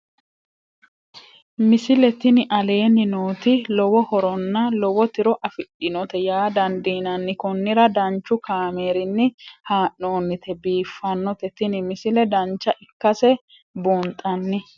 misile tini aleenni nooti lowo horonna lowo tiro afidhinote yaa dandiinanni konnira danchu kaameerinni haa'noonnite biiffannote tini misile dancha ikkase buunxanni